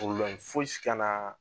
fosi kana